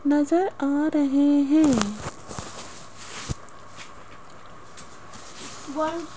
नजर आ रहे हैं।